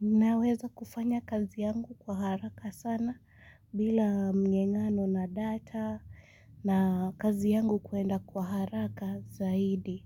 Ninaweza kufanya kazi yangu kwa haraka sana bila mng'ang'ano na data na kazi yangu kwenda kwa haraka zaidi.